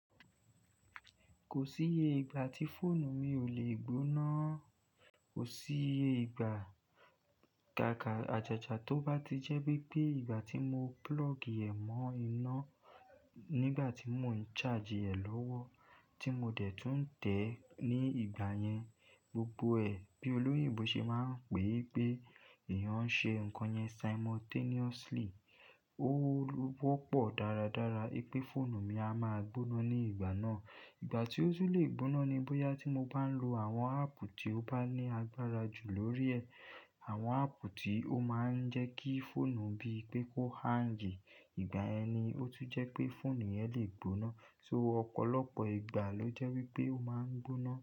Kò síye ìgbà tí fóònù mi ò lè gbóná. Kò síye ìgbà. Kàkà àjàjà tó bá ti jẹ́ bi pé ìgbà tí mo plug ẹ̀ mọ́ iná, nígbà tí mò ń charge ẹ̀ lọ́wọ́ tí mo dẹ̀ tún ń tẹ̀ ẹ́ ní ìgbà yẹn, gbogbo ẹ̀ bí olóyìnbo ṣe máa ń pè pé èèyàn ń ṣe nǹkan yẹn simultaneously. Ó wọ́pọ̀ dáradára pé fóònù mi a máa gbóná ní ìgbà náà. Ìgbà tí ó tú lè gbóná ni bóyá tí mo bá ń lo àwọn app tí ó bá ní agbára jù lórí ẹ̀. Àwọn app tí ó máa ń jẹ́ kí fóònù bí pé kó hang. Ìgbà yẹn ni ó tún jẹ́ pé fóònù yẹn lè gbóná. So ọ̀pọ̀lọpọ̀ ìgbà ló jẹ́ wípé ó máa ń gbóná.